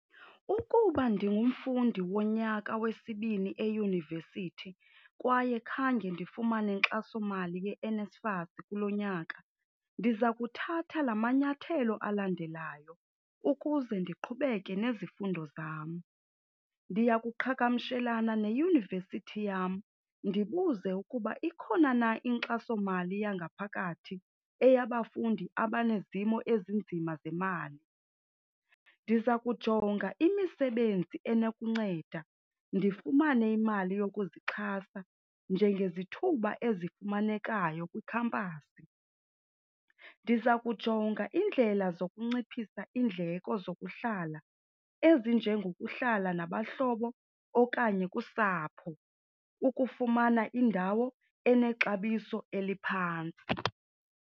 Ukuba ndingumfundi wonyaka wesibini eyunivesithi kwaye khange ndifumane nkxasomali yeNSFAS kulo nyaka, ndiza kuthatha la manyathelo alandelayo ukuze ndiqhubeke nezifundo zam. Ndiya kuqhagamshelana neyunivesithi yam ndibuze ukuba ikhona na inkxasomali yangaphakathi eyabafundi abanezimo ezinzima zemali. Ndiza kujonga imisebenzi enokunceda ndifumane imali yokuzixhasa njengezithuba ezifumanekayo kwikhampasi. Ndiza kujonga indlela zokunciphisa iindleko zokuhlala ezinjengokuhlala nabahlobo okanye kusapho ukufumana indawo enexabiso eliphantsi.